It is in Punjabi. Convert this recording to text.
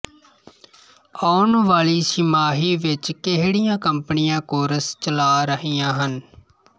ਆਉਣ ਵਾਲੀ ਛਿਮਾਹੀ ਵਿੱਚ ਕਿਹੜੀਆਂ ਕੰਪਨੀਆਂ ਕੋਰਸ ਚਲਾ ਰਹੀਆਂ ਹਨ